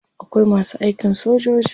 Akwai masu aikin sojoji.